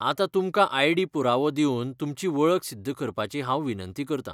आतां तुमकां आयडी पुरावो दिवन तुमची वळख सिध्द करपाची हांव विनंती करतां.